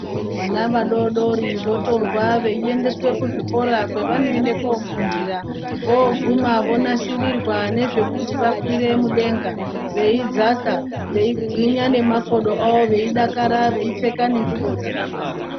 Vana vadodori votorwa veiendeswe kuzvikora kwavanoende kofundira. Voguma vonasirirwa nezvekuti vakwire mudenga, veidzaka veigwinya nemakodo avo, veidakara veipfeka ngengubo dzakafanana.